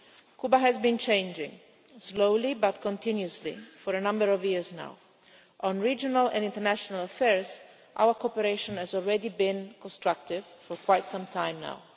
Cuba has been changing, slowly but continuously, for a number of years now. On regional and international affairs, our cooperation has already been constructive for quite some time now.